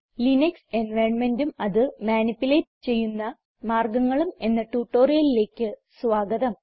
Linux environmentഉം അത് manipulate ചെയ്യുന്ന മാർഗങ്ങളും എന്ന ട്യൂട്ടോറിയലിലേക്ക് സ്വാഗതം